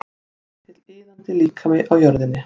Lítill iðandi líkami á jörðinni.